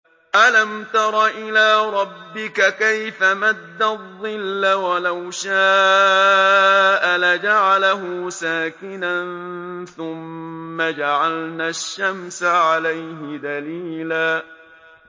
أَلَمْ تَرَ إِلَىٰ رَبِّكَ كَيْفَ مَدَّ الظِّلَّ وَلَوْ شَاءَ لَجَعَلَهُ سَاكِنًا ثُمَّ جَعَلْنَا الشَّمْسَ عَلَيْهِ دَلِيلًا